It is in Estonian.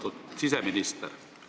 Austatud siseminister!